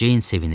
Ceyn sevinir.